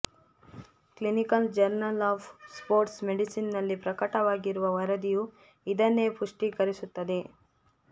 clinical journal of sports ಮೆಡಿಸಿನ್ನಲ್ಲಿ ಪ್ರಕಟವಾಗಿರುವ ವರದಿಯೂ ಇದನ್ನೇ ಪುಷ್ಟೀಕರಿಸುತ್ತದೆ